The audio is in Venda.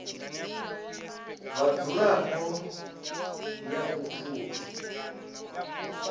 vhadzulapo ya u t ut